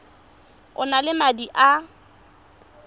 o na le madi a